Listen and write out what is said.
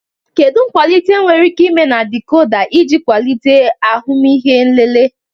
Kedu nkwalite enwere ike ime na dikoda iji kwalite ahụmịhe nlele?